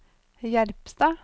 Jerpstad